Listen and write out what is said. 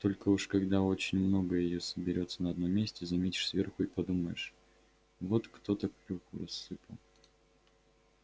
только уж когда очень много её собёрется на одном месте заметишь сверху и подумаешь вот кто-то клюкву рассыпал